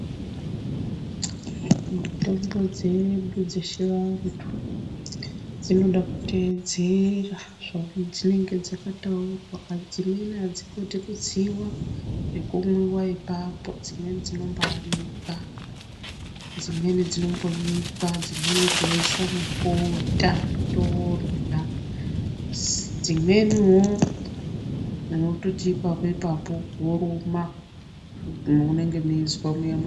Mitombo dzedu dzechivantu dzinoda kuteedzera zvadzinenge dzakataurwa. Dzimweni adzingodi kutsiwa nekumwiwa ipapo. Dzimweni dzinomboanikwa, dzimweni dzinombonyikwa, dzimweni toisa mubota todyra. Dzimweni wo unototi ipapo ipapo woruma mounenge weizwa muyaa.